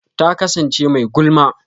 Ta kasance mai gulma.